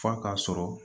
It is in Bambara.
F'a k'a sɔrɔ